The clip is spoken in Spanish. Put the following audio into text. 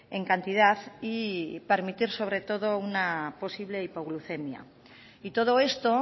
en cantidad y permitir sobre todo una posible hipoglucemia y todo esto